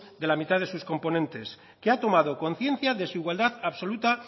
de la mitad de sus componentes que ha tomado conciencia de su igualdad absoluta